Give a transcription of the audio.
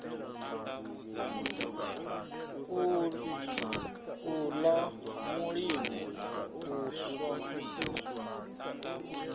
u ḽa mulimo u swa